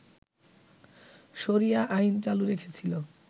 শরিয়া আইন চালু রেখেছিল